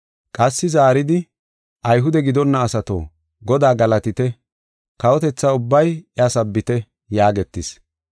Qassi zaaridi, “Ayhude gidonna asato, Godaa galatite; kawotetha ubbay iya sabbite” yaagetis.